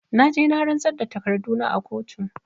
Na je na rantsar da da takarduna a kotu